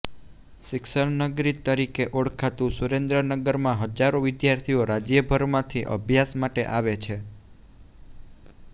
શિક્ષણનગરી તરીકે ઓળખાતું સુરેન્દ્રનગરમાં હજારો વિદ્યાર્થીઓ રાજ્યભરમાંથી અભ્યાસ માટે આવે છે